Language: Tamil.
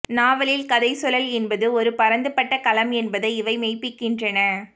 நாவலில் கதை சொலல் என்பது ஒரு பரந்துபட்ட களம் என்பதை இவை மெய்ப்பிக்கின்றன